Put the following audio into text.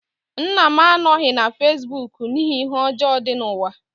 Nna m anọghị na fesibuuku n'ihi ihe ọjọọ dị n'ụwa.